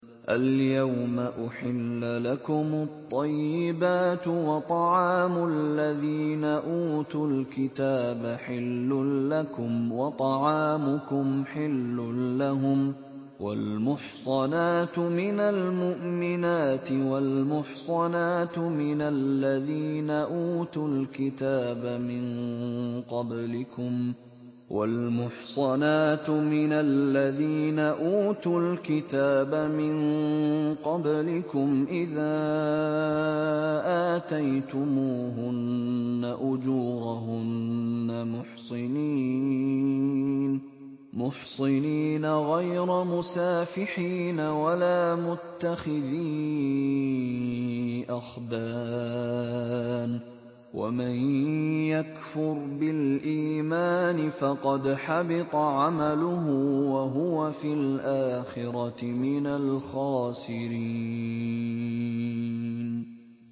الْيَوْمَ أُحِلَّ لَكُمُ الطَّيِّبَاتُ ۖ وَطَعَامُ الَّذِينَ أُوتُوا الْكِتَابَ حِلٌّ لَّكُمْ وَطَعَامُكُمْ حِلٌّ لَّهُمْ ۖ وَالْمُحْصَنَاتُ مِنَ الْمُؤْمِنَاتِ وَالْمُحْصَنَاتُ مِنَ الَّذِينَ أُوتُوا الْكِتَابَ مِن قَبْلِكُمْ إِذَا آتَيْتُمُوهُنَّ أُجُورَهُنَّ مُحْصِنِينَ غَيْرَ مُسَافِحِينَ وَلَا مُتَّخِذِي أَخْدَانٍ ۗ وَمَن يَكْفُرْ بِالْإِيمَانِ فَقَدْ حَبِطَ عَمَلُهُ وَهُوَ فِي الْآخِرَةِ مِنَ الْخَاسِرِينَ